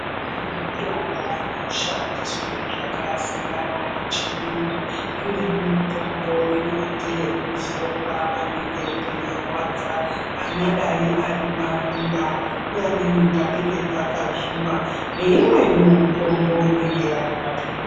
Kune mitombo inoshandiswe zvakasiyana yechiyungu imweni mitombo inoite ekuzorwa panenge peirwadza anyadai ari maronda nepamweni panenge pakazvimba neimweniwo mutombo inenge ari mapili.